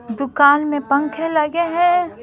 दुकान में पंखे लगे हैं।